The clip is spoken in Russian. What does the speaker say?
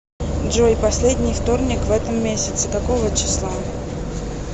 джой последний вторник в этом месяце какого числа